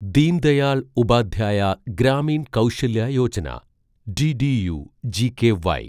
Deen Dayal Upadhyaya Grameen Kaushalya Yojana ഡിഡിയു-ജികെവൈ